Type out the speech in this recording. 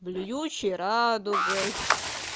блюющий радугой